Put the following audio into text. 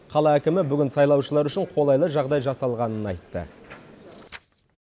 қала әкімі бүгін сайлаушылар үшін қолайлы жағдай жасалғанын айтты